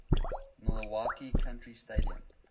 milwaukee county stadium